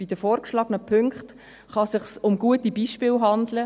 Bei den vorgeschlagenen Punkten kann es sich um gute Beispiele handeln.